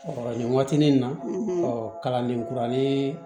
nin waati nin na ɔ kalanden kuralen